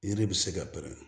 Yiri bɛ se ka bɛn